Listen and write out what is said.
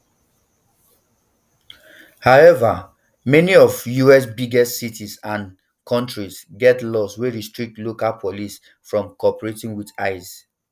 however many of us biggest cities and counties get laws wey restrict local police from cooperating wit ice